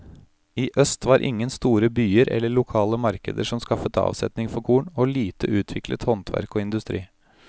I øst var ingen store byer eller lokale markeder som skaffet avsetning for korn, og lite utviklet handverk og industri.